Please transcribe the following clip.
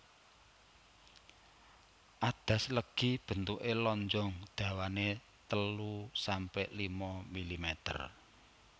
Adas legi bentuke lonjong dawane telu sampe lima milimeter